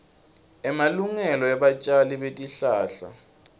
emalungelo ebatjali betihlahla